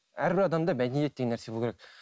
әрбір адамда мәдениет деген нәрсе болу керек